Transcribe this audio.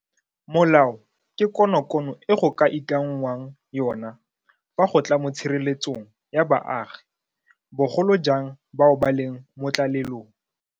Molao ke konokono e go ka ikanngwang yona fa go tla mo tshireletsong ya baagi, bogolo jang bao ba leng mo tlalelong.